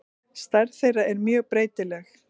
Stærð þeirra er mjög breytileg.